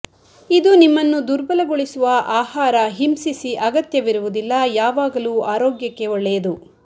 ಇದು ನಿಮ್ಮನ್ನು ದುರ್ಬಲಗೊಳಿಸುವ ಆಹಾರ ಹಿಂಸಿಸಿ ಅಗತ್ಯವಿರುವುದಿಲ್ಲ ಯಾವಾಗಲೂ ಆರೋಗ್ಯಕ್ಕೆ ಒಳ್ಳೆಯದು